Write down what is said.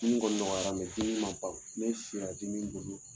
Dimin kɔni nɔgɔya la dimin man ban ne sira dimin bolo.